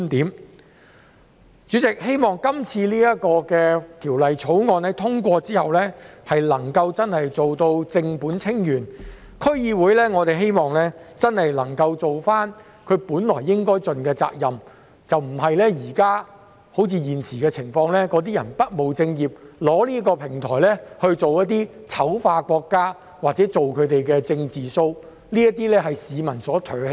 代理主席，我希望《條例草案》通過後能夠真正做到正本清源，讓區議會能夠盡其應有責任，而不是好像現在般不務正業，被用作醜化國家或做"政治 show" 的平台，這是市民所唾棄的。